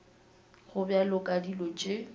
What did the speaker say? go bjalo ka dilo tše